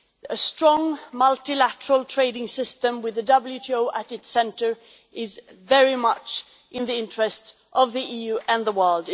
A strong, multilateral trading system with the WTO at its centre is very much in the interests of the EU and the world.